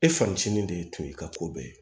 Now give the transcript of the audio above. E fanicinin de y'i to yen i ka ko bɛɛ ye